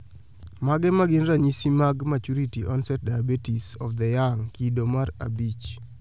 Mage magin ranyisi mag Maturity onset diabetes of the young, kido mar abich